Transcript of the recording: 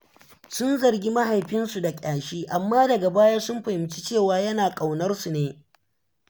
Sun zargi mahaifinsu da ƙyashi, amma daga baya sun fahimci cewa yana ƙaunarsu ne.